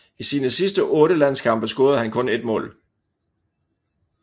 I sine sidste otte landskampe scorede han kun ét mål